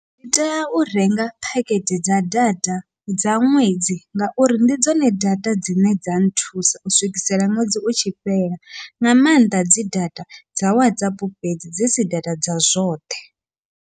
Ndi tea u renga phakhethe dza data dza ṅwedzi, ngauri ndi dzone data dzine dza nthusa u swikisela ṅwedzi u tshi fhela nga maanḓa dzi data dza Whatsapp fhedzi dzi si data dza zwoṱhe.